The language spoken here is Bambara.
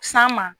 San ma